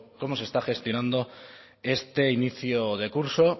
con cómo se está gestionando este inicio de curso